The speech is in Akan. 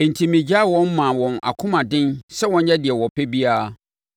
Enti megyaa wɔn maa wɔn akomaden sɛ wɔnyɛ deɛ wɔpɛ biara.